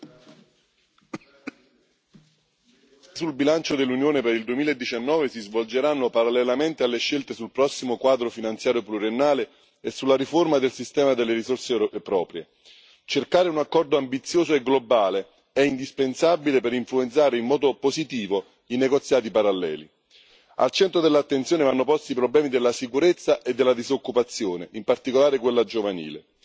Signor Presidente, onorevoli colleghi, le scelte sul bilancio dell'Unione per il 2019 si svolgeranno parallelamente alle scelte sul prossimo quadro finanziario pluriennale e sulla riforma del sistema delle risorse proprie. Cercare un accordo ambizioso e globale è indispensabile per influenzare in modo positivo i negoziati paralleli. Al centro dell'attenzione vanno posti i problemi della sicurezza e della disoccupazione, in particolare quella giovanile.